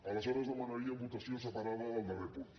aleshores demanaríem votació separada del darrer punt